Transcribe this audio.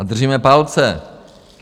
A držíme palce.